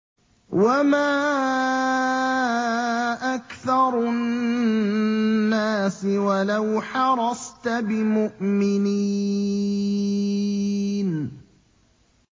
وَمَا أَكْثَرُ النَّاسِ وَلَوْ حَرَصْتَ بِمُؤْمِنِينَ